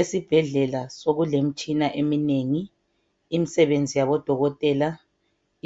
Esibhedlela sokulemtshina eminengi imsebenzi yabodokotela